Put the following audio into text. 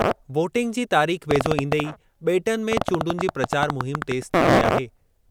Voting जी तारीख़ वेझो ईंदे ई बे॒टनि में चूंडुनि जी प्रचार मुहिम तेज़ थी वेई आहे।